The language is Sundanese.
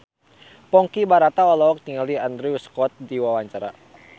Ponky Brata olohok ningali Andrew Scott keur diwawancara